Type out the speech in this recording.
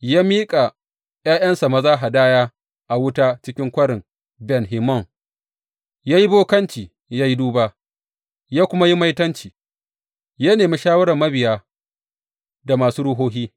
Ya miƙa ’ya’yansa maza hadaya a wuta cikin Kwarin Ben Hinnom, ya yi bokanci, ya yi duba, ya kuma yi maitanci, ya nemi shawarar mabiya da masu ruhohi.